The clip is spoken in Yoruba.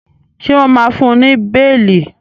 ṣe wón má fún ní beeli?